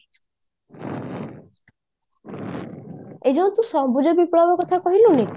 ଏ ଯୋଉ ତୁ ସବୁଜ ବିପ୍ଲବ କଥା ତୁ କହିଲୁନି